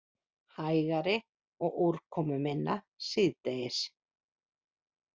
Hægari og úrkomuminna síðdegis